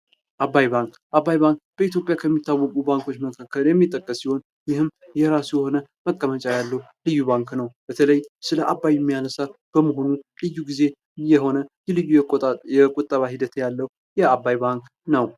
አባይ ባንክ አባይ ባንክ በኢትዮጵያ ከሚታወቁ ባንኮች መካከል የሚጠቀስ ሲሆን የራሱ የሆነ መቀመጫ ያለው ልዩ ባንክ ነው ።በተለይ ስለ አባይ የሚያነሳ በመሆኑ ልዩ ጊዜ የሆነ ቁጠባ ሂደት ያለው የአባይ ባንክ ነው።